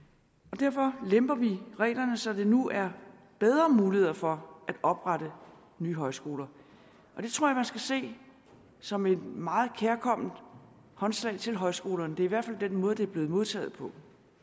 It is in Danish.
derfor lemper vi reglerne så der nu er bedre muligheder for at oprette nye højskoler det tror jeg man skal se som et meget kærkomment håndslag til højskolerne det er i hvert fald den måde det er blevet modtaget på